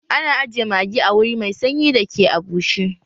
Ana ajiye magi a wuri mai sanyi da ke a bushe